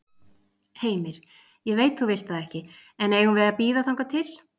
Heimir: Ég veit þú vilt það ekki, en eigum við að bíða þangað til?